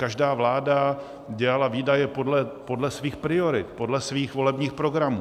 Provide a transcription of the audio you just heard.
Každá vláda dělala výdaje podle svých priorit, podle svých volebních programů.